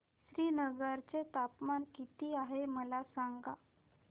श्रीनगर चे तापमान किती आहे मला सांगा